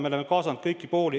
Me oleme kaasanud kõiki pooli.